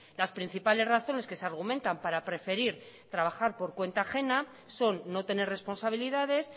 las principales razones que se argumentan para preferir trabajar por cuenta ajena son no tener responsabilidades